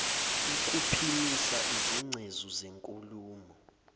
ukuphimisa izingcezu zenkulumo